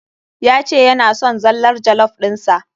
Ya ce yana son zallar jollof ɗin sa.